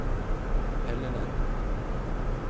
Helleland